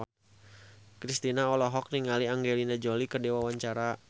Kristina olohok ningali Angelina Jolie keur diwawancara